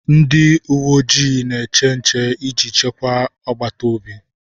Ndị uwe ojii na-eche nche iji chekwaa agbata obi